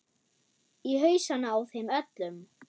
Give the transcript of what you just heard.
Í hausana á þeim öllum.